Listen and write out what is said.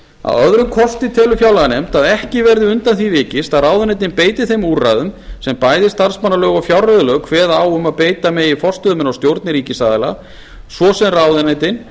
að öðrum kosti telur fjárlaganefnd að ekki verði undan því vikist að ráðuneytin beiti þeim úrræðum sem bæði starfsmannalög og fjárreiðulög kveða á um að beita megi forstöðumenn og stjórnir ríkisaðila svo sem ráðuneytin